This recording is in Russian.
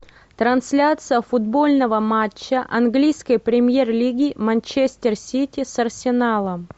трансляция футбольного матча английской премьер лиги манчестер сити с арсеналом